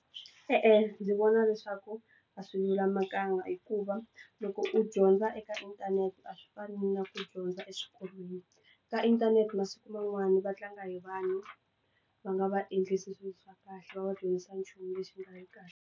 E-e, ndzi vona leswaku a swi lulamanga hikuva loko u dyondza eka inthanete a swi fani na ku dyondza eswikolweni ka inthanete masiku man'wana va tlanga hi vanhu va nga va endlisi swilo swa kahle va va dyondzisa nchumu lexi nga vi kahle.